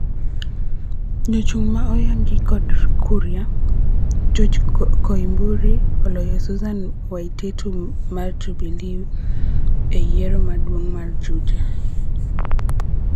Jachung' ma oyangi kod Kuria, George Koimburi, oloyo Susan Waititu mar Jubilee e yiero maduong' mar Juja